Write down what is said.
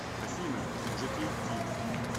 афина можете идти